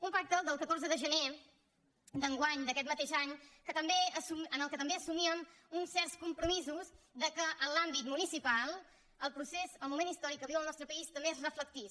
un pacte el del catorze de gener d’enguany d’aquest mateix any en què també assumíem uns certs compromisos que en l’àmbit municipal el procés el moment històric que viu el nostre país també s’hi reflectís